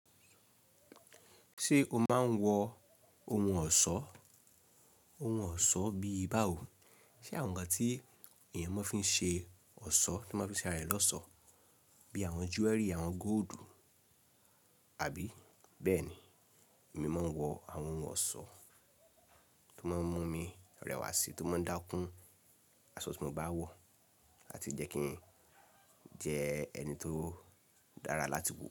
Ṣé o máa ń wọ ohun ọ̀ṣọ́? Ohun ọ̀ṣọ́ bíi báwo, ṣe àwọn ǹkan tí ènìyàn máa ń fi ṣe ọ̀ṣọ́ tí wọ́n fi ṣe ara rẹ̀ lọ́sọ̀ọ́ bíi àwọn jewelry, àwọn góldù àbí bẹ́ẹ̀ni, èmi máa ń wọ àwọn ohun ọ̀ṣọ́ tó máa ń mú mi rẹwà sí, tó máa ń dákún asọ tí mo bá wọ̀ àti jẹ́ kí n jẹ́ ẹni tó dára láti wo.